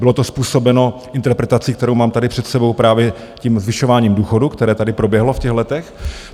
Bylo to způsobeno interpretací, kterou mám tady před sebou, právě tím zvyšováním důchodů, které tady proběhlo v těch letech.